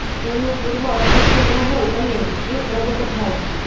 એનું પૂર્વ અસ્તિત્વ ન હોય અને એ પ્રગટ થાય